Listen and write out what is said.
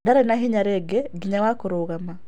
Ndarĩ na hinya rĩngĩ nginya wa kũrũgama.